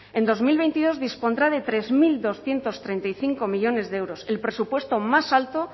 en dos mil veintidós dispondrá de tres mil doscientos treinta y cinco millónes de euros el presupuesto más alto